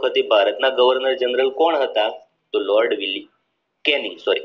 પછી ભારતના governor general કોણ હતા તો લોર્ડ વિલ કેની સોર